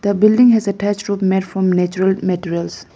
the building has attached roof made from natural materials.